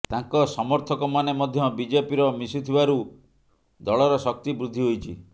ତାଙ୍କ ସମର୍ଥକମାନେ ମଧ୍ୟ ବିଜେପିର ମିଶିଥିବାରୁ ଦଳର ଶକ୍ତି ବୃଦ୍ଧି ହୋଇଛି